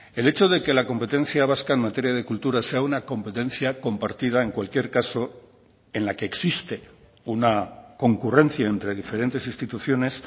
el hecho de que la competencia vasca en materia de cultura sea una competencia compartida en cualquier caso en la que existe una concurrencia entre diferentes instituciones